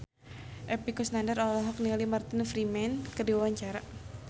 Epy Kusnandar olohok ningali Martin Freeman keur diwawancara